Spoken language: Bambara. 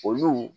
Olu